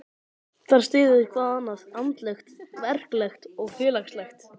Þar styður hvað annað, andlegt, verklegt og félagslegt.